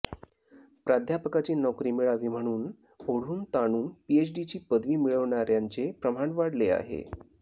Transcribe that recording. प्राध्यापकाची नोकरी मिळावी म्हणून ओढूनताणून पीएचडीची पदवी मिळवणाऱ्यांचे प्रमाण वाढले आहे